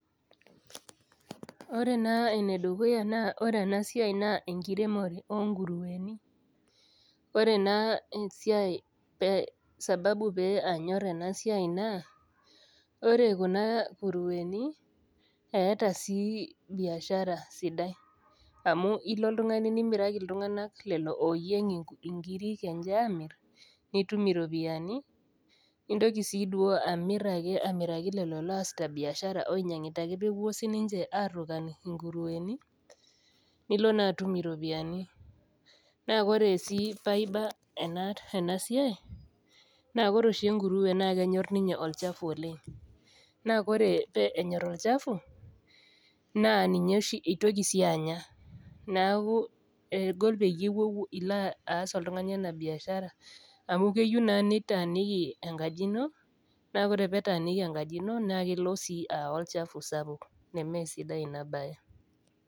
Ore na enedukuya na ore enasiai na enkiremore onkurueni ore na esiai sababu panyor enasuai naaa ore kuna kureni eetasi biashara sidai amu ilo oltungani nimiraki ltunganak lolo oyiemg nkirik enche amir nitum iropiyani nintoki si duo amir amiraki lolo oasita biashara oinyangita ake pepuo sinche airongany nkurueni nilo ka atum iropiyiani na ore si paiba enasiai na koree oshi enkurue na kenyor ninye olchafu oleng naa koree enyor olchafu na ninye si itoli anya neaku egol pilo aas enabiashara amu eyieu na nitaaniki enkaji ino paa ore pitaaniki enkaji ino na kelo si aya olchafu sapuk nemesidai inabae.